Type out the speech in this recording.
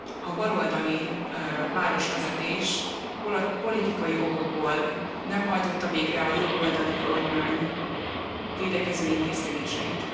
A baloldali városvezetés, politikai okokból nem hajtotta végre, a jobboldali kormány védekező intézkedéseit.